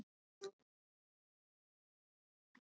Þetta var búðarsulta.